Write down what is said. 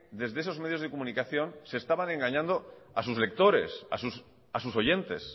desde esos medios de comunicación se estaban engañando a sus lectores a sus oyentes